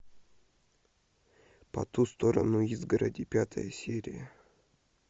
по ту сторону изгороди пятая серия